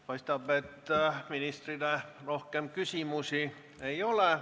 Paistab, et ministrile rohkem küsimusi ei ole.